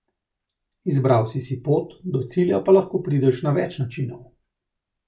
Izbral si si pot, do cilja pa lahko prideš na več načinov.